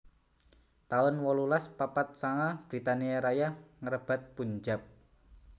taun wolulas papat sanga Britania Raya ngrebat Punjab